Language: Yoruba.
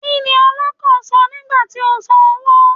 Kí ni ọlọ́kọ̀ sọ nígbà tí ó sàn owó?